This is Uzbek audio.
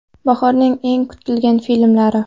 Bahorning eng kutilgan filmlari.